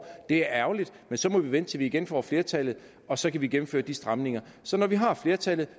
det er ærgerligt men så må vi vente til vi igen får flertallet og så kan vi gennemføre de stramninger så når vi har flertallet